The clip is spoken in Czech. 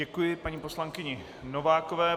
Děkuji paní poslankyni Novákové.